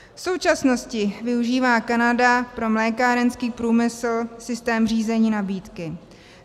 V současnosti využívá Kanada pro mlékárenský průmysl systém řízení nabídky.